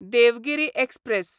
Devgiri express